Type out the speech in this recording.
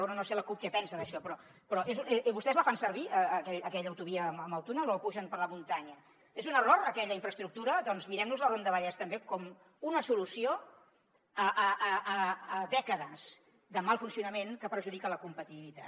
bé no sé la cup què pensa d’això però vostès la fan servir aquella autovia amb el túnel o pugen per la muntanya és un error aquella infraestructura doncs mirem nos la ronda vallès també com una solució a dècades de mal funcionament que perjudica la competitivitat